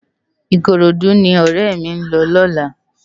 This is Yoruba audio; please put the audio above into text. Ikorodu ni òrè mi n lò lòlá